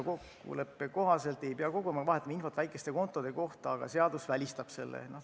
Kokkuleppe kohaselt ei pea koguma ja vahetama infot väikeste kontode kohta, aga seadus välistab selle.